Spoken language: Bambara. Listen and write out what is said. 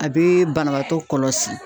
A be banabaatɔ kɔlɔsi.